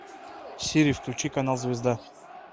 сири включи канал звезда